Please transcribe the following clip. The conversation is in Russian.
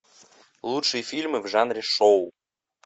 лучшие фильмы в жанре шоу